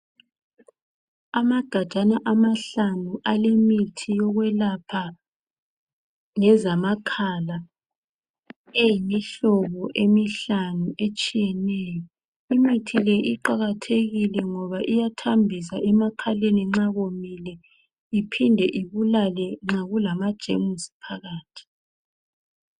Amagajana amahlanu alemithi yokwelapha ngezamakhala , eyimihlobo emihlanu etshiyeneyo. Imithi le iqakathekile ngoba iyathambisa emakhaleni nxa komile iphinde ibulale nxa kulamajemusi phakathi.